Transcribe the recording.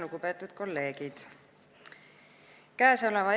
Lugupeetud kolleegid!